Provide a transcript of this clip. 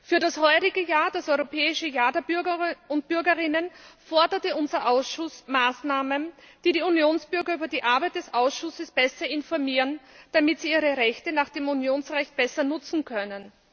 Für das heurige Jahr, das Europäische Jahr der Bürgerinnen und Bürger, forderte unser Ausschuss Maßnahmen, die die Unionsbürger über die Arbeit des Ausschusses besser informieren, damit sie ihre Rechte nach dem Unionsrecht besser nutzen können.